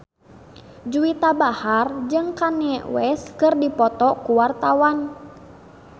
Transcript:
Juwita Bahar jeung Kanye West keur dipoto ku wartawan